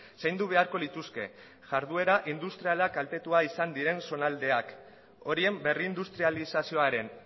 zaindu beharko lituzke jarduera industriala kaltetua izan ziren zonaldeak horien berrindustrializazioaren